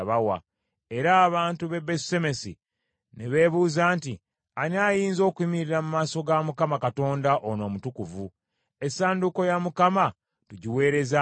era abantu b’e Besusemesi ne beebuuza nti, “Ani ayinza okuyimirira mu maaso ga Mukama , Katonda ono omutukuvu? Essanduuko ya Mukama tugiweereze ani?”